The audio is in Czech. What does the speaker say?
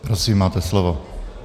Prosím, máte slovo.